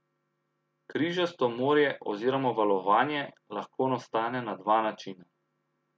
Križasto morje oziroma valovanje lahko nastane na dva načina.